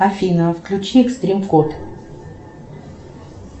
афина включи экстрим код